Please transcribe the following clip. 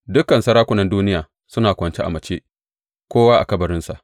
Dukan sarakunan duniya suna kwance a mace, kowa a kabarinsa.